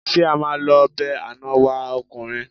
Ṣé a máa lọ be àná wa ọkùnrin?